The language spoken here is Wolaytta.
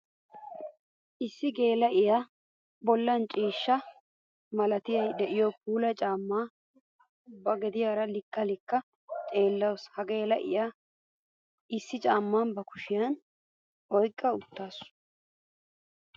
Issi geela'iya bollan ciishsha malaatay de'iyo puula caama ba gediyara likka likka xeellawussu. Ha geela'iya issi caama ba kushiyan oyqqa uttassu.